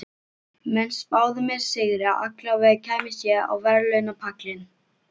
Menn spáðu mér sigri, allavega kæmist ég á verðlaunapallinn.